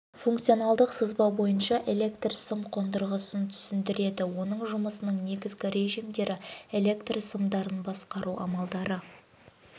функционалдық сызба бойынша электр сым қондырғысын түсіндіреді оның жұмысының негізгі режимдері электр сымдарын басқару амалдары